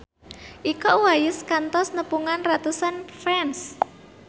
Iko Uwais kantos nepungan ratusan fans